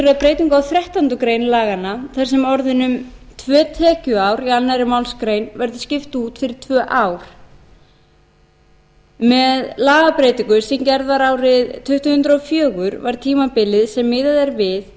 að breytingu á þrettándu greinar laganna þar sem orðunum tvö tekjuár í annarri málsgrein verður skipt út fyrir tvö ár með lagabreytingu sem gerð var árið tvö þúsund og fjögur var tímabilið sem miðað er við